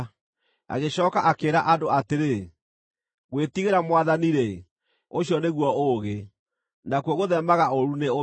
Agĩcooka akĩĩra andũ atĩrĩ, ‘Gwĩtigĩra Mwathani-rĩ, ũcio nĩguo ũũgĩ, Nakuo gũtheemaga ũũru nĩ ũmenyo.’ ”